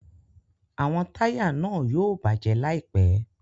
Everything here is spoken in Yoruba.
Awọn taya náà yóò bajẹ laipẹ